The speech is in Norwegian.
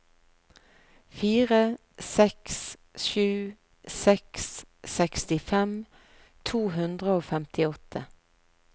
fire seks sju seks sekstifem to hundre og femtiåtte